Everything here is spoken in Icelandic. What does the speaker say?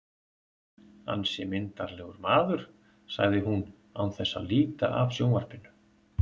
Ansi myndarlegur maður, segir hún án þess að líta af sjónvarpinu.